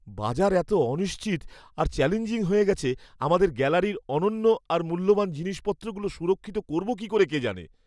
বাজার এত অনিশ্চিত আর চ্যালেঞ্জিং হয়ে গেছে, আমাদের গ্যালারির অনন্য আর মূল্যবান জিনিসপত্রগুলো সুরক্ষিত করবো কী করে কে জানে!